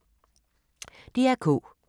DR K